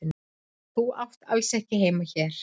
Þú átt alls ekki heima hér.